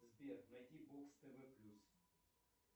сбер найди бокс тв плюс